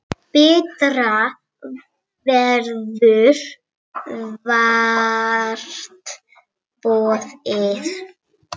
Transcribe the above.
Betra verður vart boðið.